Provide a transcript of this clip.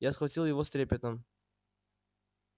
я схватил его с трепетом